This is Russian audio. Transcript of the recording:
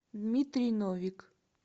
дмитрий новик